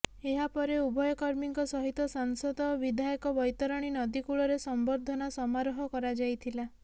ଏହାପରେ ଉଭୟ କର୍ମୀଙ୍କ ସହିତ ସାଂସଦ ଓ ବିଧାୟକ ବୈତରଣୀ ନଦୀ କୂଳରେ ସମ୍ବର୍ଦ୍ଧନା ସମାରୋହ କରାଯାଇଥିଲା